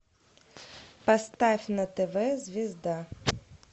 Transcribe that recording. поставь на тв звезда